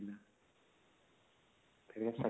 section ନାଇଁ